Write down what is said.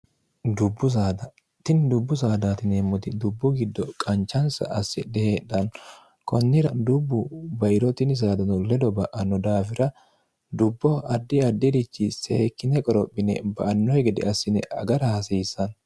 dubbu saada tini yieemmoti dubbu giddo qanchansa assidhe heedhanno kunnira dubbu bairoo tinni saadano ledo ba'anno daafira dubbo addi addirichi seekkine qorophine ba'annokki gede assine agara hasiissanno